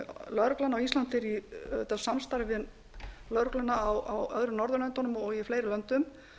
lögreglan á íslandi er í samstarfi við lögregluna á öðrum norðurlöndum og í fleiri löndum